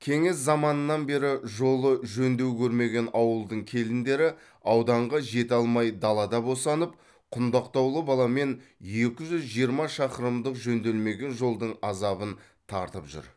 кеңес заманынан бері жолы жөндеу көрмеген ауылдың келіндері ауданға жете алмай далада босанып құндақтаулы баламен екі жүз жиырма шақырымдық жөнделмеген жолдың азабын тартып жүр